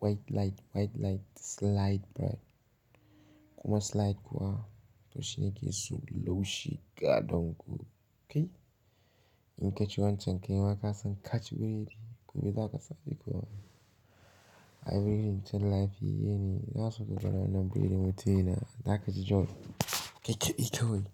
white light, white light slide bright. Kuma slide kuwa to shi nake so da laushi ga danko, kai. In ka ci wancan kai ma ka san ka ci burodi gobe za ka sake kuwa. Burodin din lafiyayyene ina so ka gwada wannan burodi mutumi na, za ka ji joy kai kadai kawai.